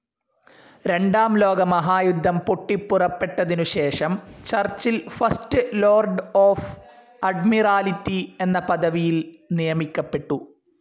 രണ്ടാം ലോകമഹായുദ്ധം പൊട്ടിപ്പുറപ്പെട്ടതിനു ശേഷം Churchill First Lord of Admiralty എന്ന പദവിയിൽ നിയമിക്കപ്പെട്ടു.